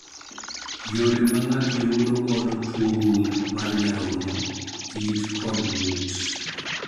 Yore ma ng'ato yudo godo tuo gund mar nyarogno, it kod ng'ut